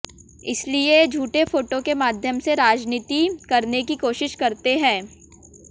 इसलिए ये झूठे फोटो के माध्यम से राजनीति करने की कोशिश करते हैं